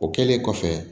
O kɛlen kɔfɛ